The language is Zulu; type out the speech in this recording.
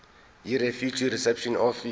yirefugee reception office